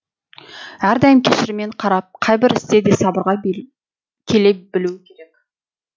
әрдайым кешіріммен қарап қайбір істе де сабырға келе білуі керек